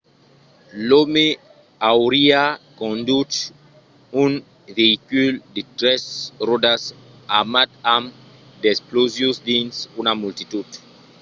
l'òme auriá conduch un veïcul de tres ròdas armat amb d'explosius dins una multitud